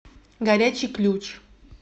горячий ключ